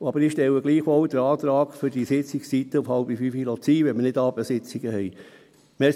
Gleichwohl stelle ich den Antrag, die Sitzungszeiten bei 16.30 Uhr zu belassen, wenn wir keine Abendsitzungen haben.